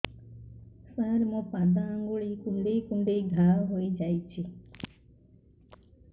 ସାର ମୋ ପାଦ ଆଙ୍ଗୁଳି କୁଣ୍ଡେଇ କୁଣ୍ଡେଇ ଘା ହେଇଯାଇଛି